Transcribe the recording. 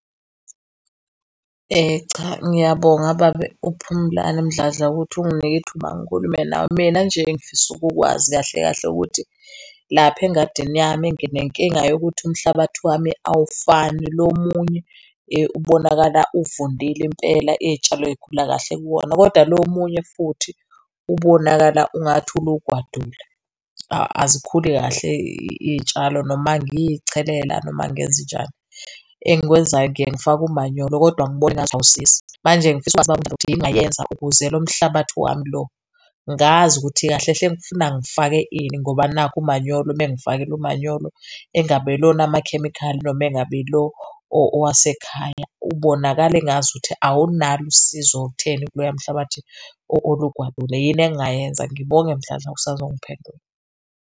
Cha, ngiyabonga baba, uPhumlani Mdladla ukuthi unginike ithuba, ngikhulume nawe. Mina nje engifisa ukukwazi kahle kahle ukuthi lapha engadini yami nginenkinga yokuthi umhlabathi wami awufani. Lo omunye ubonakala uvundile impela iy'tshalo y'khula kahle kuwona kodwa lo omunye futhi ubonakala ungathi ulugwadule. Azikhuli kahle iy'tshalo noma ngiyichelela noma ngenzenjani, engikwenzayo ngiye ngifake umanyolo kodwa ngibona engathi awusizi. Manje ngifisa ukwazi baba uMdladla ukuthi yini engingayenza ukuze lo mhlabathi wami lo ngazi ukuthi kahle hle kufuna ngifake ini ngoba nakhu umanyolo uma ngifakile umanyolo engabe ilona onamakhemikhali, noma engabe ilo owasekhaya ubonakala engazukuthi awunalo usizo olutheni kuloya mhlabathi olugwadule. Yini engingayenza? Ngibonge Mdladla usazongiphendula.